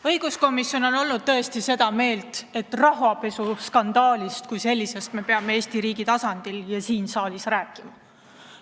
Õiguskomisjon on olnud tõesti seda meelt, et rahapesuskandaalist kui sellisest me peame Eesti riigi tasandil ja siin saalis rääkima.